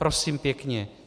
Prosím pěkně.